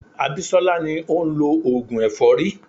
Abisola ni ó ń lọ oògùn èfọ́rí.